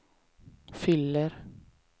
fyller